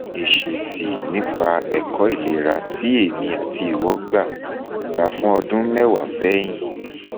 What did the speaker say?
esesi nipa eko ilera ti emi ati iwo gba gba fun odun mewa sehin